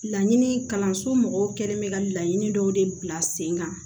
Laɲini kalanso mɔgɔw kɛlen bɛ ka laɲini dɔw de bila sen kan